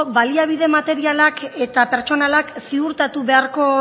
baliabide materialak eta pertsonalak ziurtatu beharko